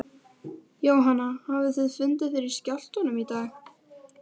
Jóhann hafið þið fundið fyrir skjálftum í dag?